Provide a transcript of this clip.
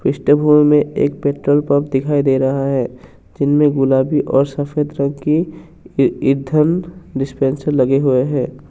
इस दृश्य में एक पेट्रोल पंप दिखाई दे रहा है जिसमें गुलाबी और सफेद रंग की इधन डिस्पेंसर लगे हुए हैं।